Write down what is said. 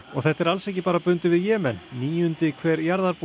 þetta er alls ekki bara bundið við Jemen níundi hver